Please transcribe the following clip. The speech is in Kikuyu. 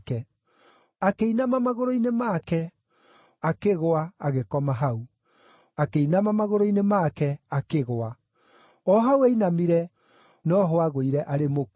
Akĩinama magũrũ-inĩ make, akĩgũa; agĩkoma hau. Akĩinama magũrũ-inĩ make, akĩgũa; o hau ainamire, no ho aagũire arĩ mũkuũ.